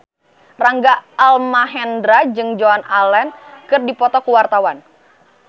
Rangga Almahendra jeung Joan Allen keur dipoto ku wartawan